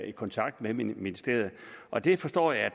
i kontakt med ministeriet og det forstår jeg er